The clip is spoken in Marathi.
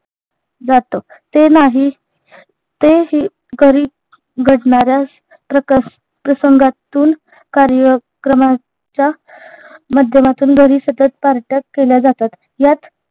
जातो ते नाही ते हे घरी घडणाऱ्या प्रकर् प्रसंगातून कार्यक्रमाच्या माध्यमातून घरी सतत पार्ट्या केल्या जातात यात